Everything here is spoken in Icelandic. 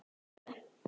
Eyða tvö.